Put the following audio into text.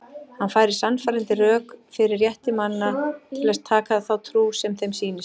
Hann færir sannfærandi rök fyrir rétti manna til að taka þá trú sem þeim sýnist.